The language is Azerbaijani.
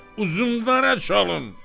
Uzundərə çalın!"